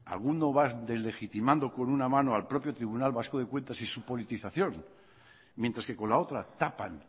alguno va deslegitimando con una mano al propio tribunal vasco de cuentas y su politización mientras que con la otra tapan